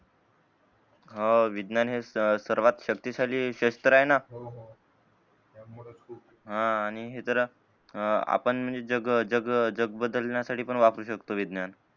हो विज्ञान हे सर्वात शक्ती शाली सेक्टर आहे ना हा आणि हे जरा आपण म्हणजे जग जग बदलण्या साठी पण वापरू शकतो विज्ञान